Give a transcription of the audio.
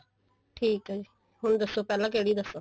ਠੀਕ ਐ ਜੀ ਹੁਣ ਦੱਸੋ ਪਹਿਲਾਂ ਕਿਹੜੀ ਦੱਸਾ